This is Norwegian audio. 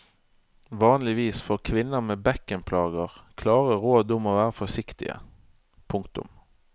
Vanligvis får kvinner med bekkenplager klare råd om å være forsiktige. punktum